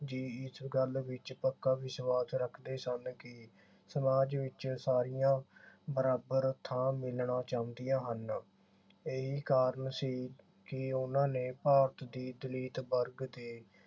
ਜੀ ਇਸ ਗੱਲ ਵਿਚ ਪੱਕਾ ਵਿਸ਼ਵਾਸ ਰੱਖਦੇ ਸਨ ਕਿ ਸਮਾਜ ਵਿਚ ਸਾਰੀਆਂ ਬਰਾਬਰ ਥਾਂ ਮਿਲਣਾ ਚਾਹੁੰਦੀਆਂ ਹਨ। ਇਹੀ ਕਾਰਨ ਸੀ ਕਿ ਉਨ੍ਹਾਂ ਨੇ ਭਾਰਤ ਦੀ ਦਲਿਤ ਵਰਗ ਦੇ